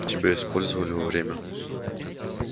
тебя использовали во время